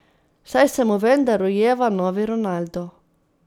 Saj se mu vendar rojeva novi Ronaldo.